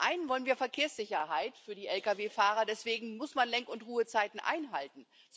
Zum einen wollen wir Verkehrssicherheit für die Lkw Fahrer, deswegen muss man Lenk und Ruhezeiten einhalten.